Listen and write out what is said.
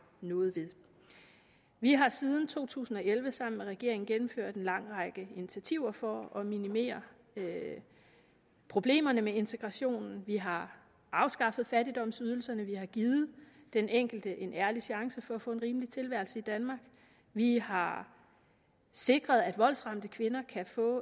noget ved vi har siden to tusind og elleve sammen med regeringen gennemført en lang række initiativer for at minimere problemerne med integrationen vi har afskaffet fattigdomsydelserne vi har givet den enkelte en ærlig chance for at få en rimelig tilværelse i danmark vi har sikret at voldsramte kvinder kan få